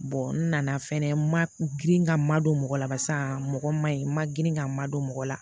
n nana fɛnɛ ma girin ka madon mɔgɔ la barisa mɔgɔ ma ɲi n ma girin ka madon mɔgɔ la